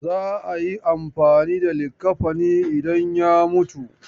Za a yi amfani da likaffani idan ya mutu.